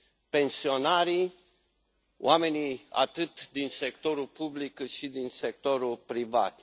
pensionarii, oamenii atât din sectorul public, cât și din sectorul privat.